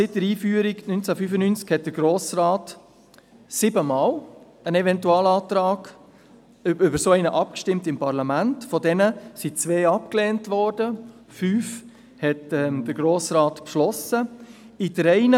Seit der Einführung 1995 stimmte der Grosse Rat siebenmal über einen Eventualantrag ab, wovon zwei abgelehnt und fünf vom Grossen Rat beschlossen wurden.